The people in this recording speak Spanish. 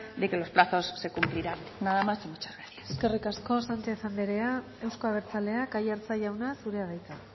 de que los plazos se cumplirán nada más y muchas gracias eskerrik asko sanchez andrea euzko abertzaleak aiartza jauna zurea da hitza